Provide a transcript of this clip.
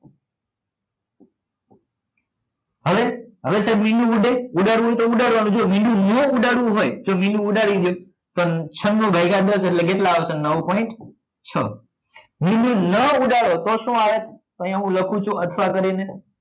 હવે હવે સાહેબ મીંડું ઉડે ઉડાડવું હોય તો ઉડાડવા નું જો મીંડું નો ઉડાડવું હોય જો મીંડું ઉડાડી દો તો છન્નું ભાગ્યા દસ એટલે કેટલા આવશે નવ point છ મીંડું ઉડાડો નતો શું આવે અહિયાં હું લખું છુ અથવા કરી ને